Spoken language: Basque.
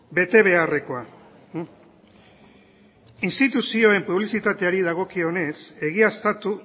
betebeharrekoa instituzioen publizitateari dagokionez egiaztatu